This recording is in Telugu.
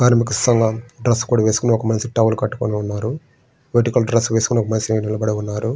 కనిపిస్తున్నా ఒక డ్రెస్స్ వేసికొని ఒక మనిషి టవల్ వేసికొని పోటికల్ డ్రెస్స్ వేసికొని ఒక మనిషి నిలబడి ఉన్నారు.